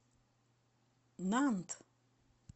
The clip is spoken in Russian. нант